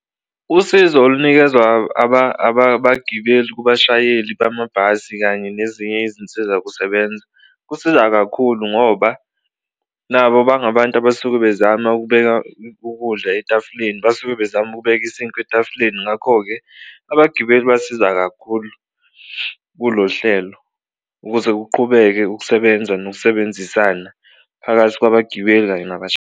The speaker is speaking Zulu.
Usizo olunikezwa abagibeli kubashayeli bamabhasi kanye nezinye izinsiza kusebenza kusiza kakhulu ngoba nabo bangabantu abasuke bezama ukubeka ukudla etafuleni, basuke bezama ukubeka isinkwa etafuleni. Ngakho-ke, abagibeli basiza kakhulu kulo hlelo ukuze kuqhubeke ukusebenza nokusebenzisana phakathi kwabagibeli kanye .